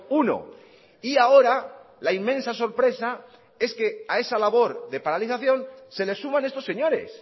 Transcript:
uno y ahora la inmensa sorpresa es que a esa labor de paralización se le suman estos señores